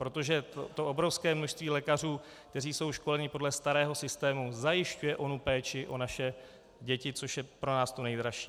Protože to obrovské množství lékařů, kteří jsou školeni podle starého systému, zajišťuje onu péči o naše děti, což je pro nás to nejdražší.